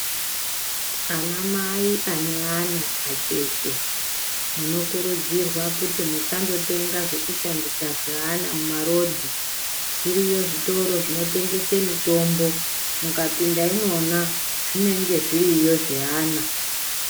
Anamai ane ana acheche munokurudzirwa kuti musandotenga zvekushandisa zveana mumarodhi. Zviriyo zvitoro zvinotengese mitombo. Mukapinda imwona zvinenge zviriyo zveana.